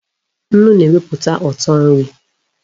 Nnu na-eweputa uto nri